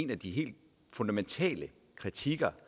af de helt fundamentale kritikpunkter